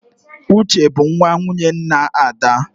Uche bụ nwa nwunye nna Ada